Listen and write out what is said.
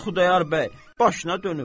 Ay Xudayar bəy, başına dönüm.